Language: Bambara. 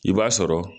I b'a sɔrɔ